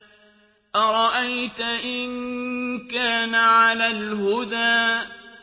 أَرَأَيْتَ إِن كَانَ عَلَى الْهُدَىٰ